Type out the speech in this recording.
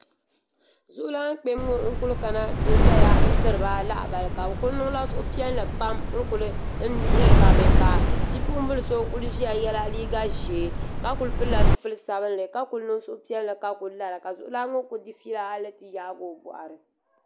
Zuɣulana kpema ŋɔ n kuli kana ti zaya n tiri ba lahabali ka bi ku niŋ la suhupiɛlli pam n kuli n lihiri ba mi ka bipuɣin bila so kuli ʒiya yɛla liiga ʒee ka kuli pili la zipili sabinli ka kuli niŋ suhupiɛlli ka ku lara ka zuɣulana ŋɔ ku di fiila hali ti yaagi o bɔɣiri.